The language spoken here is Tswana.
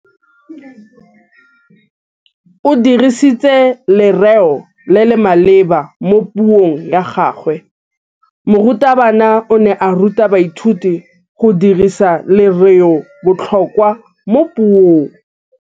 O dirisitse lerêo le le maleba mo puông ya gagwe. Morutabana o ne a ruta baithuti go dirisa lêrêôbotlhôkwa mo puong.